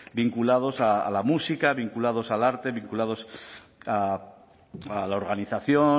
vinculados a la música vinculados al arte vinculados a la organización